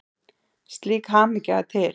Slík hamingja er til.